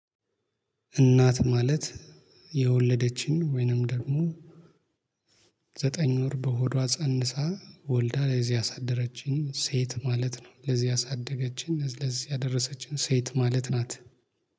እናት ማለት የወለደችን ወይንም ደግሞ ዘጠኝ ወር በሆዷ ፀንሳ ወልዳ ለዚህ ያሳደረችኝ ሴት ማለት ነው። ለዚህ ያሳደገችኝ ለዚህ ያደረሰችኝ ሴት ማለት ናት